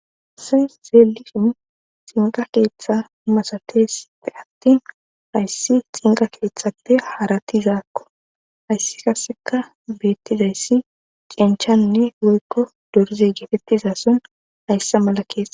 Se zeelishin xinqa keeththa masatesppe attin hayssi xinqa keeththappe haratizaakko hayssi kasseka beettizayssi cenchanne woykko dorze geetettizason hayssa mala keeta